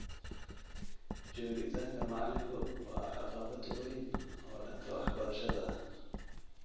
Joogitaanka macalinku waa caqabad weyn oo dhanka waxbarashada ah.